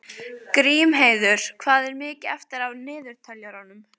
Grímheiður, hvað er mikið eftir af niðurteljaranum?